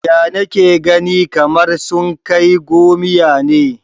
Ya nake ganin kamar sun kai gomiya ne?